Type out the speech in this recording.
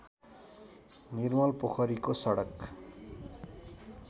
निर्मल पोखरीको सडक